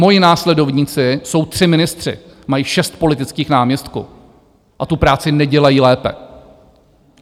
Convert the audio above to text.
Moji následovníci jsou tři ministři, mají šest politických náměstků a tu práci nedělají lépe.